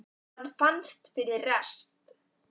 Hann fannst fyrir rest!